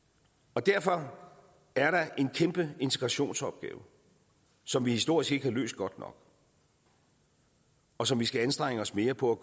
derfor er der en kæmpe integrationsopgave som vi historisk ikke har løst godt nok og som vi skal anstrenge os mere på at